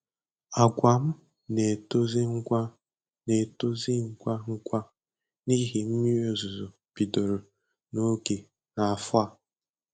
Agwa m na-etozi ngwa na-etozi ngwa ngwa n’ihi mmiri ozuzo bidoro n'oge n’afọ a.